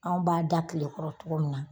Anw b'a da kile kɔrɔ cogo min na.